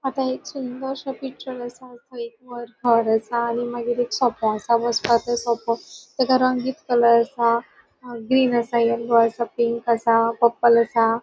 आता एक सुंदरसो पिक्चर असा तै असा आणि मागिर एक सोफ़ा असा बसपाक तो सोफ़ा ताका रंगीन कलर असा ग्रीन असा येलो असा पिंक असा पर्पल असा.